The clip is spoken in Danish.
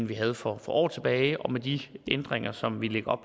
vi havde for år tilbage og med de ændringer som vi lægger